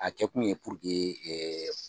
A kɛkun ye puruke